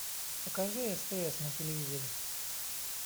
покажи стс на телевизоре